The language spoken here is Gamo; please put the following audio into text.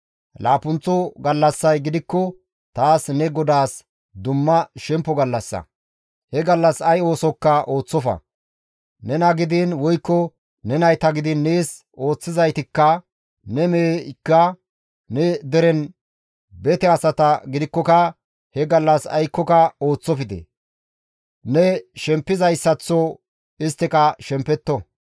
Laappunththo gallassay gidikko taas ne GODAAS dumma shemppo gallassa; he gallas ay oosokka ooththofa; nena gidiin woykko ne nayta gidiin nees ooththizaytikka, ne meheykka, ne deren bete asata gidikkoka he gallas aykkoka ooththofte; ne shempizayssaththo isttika shempetto.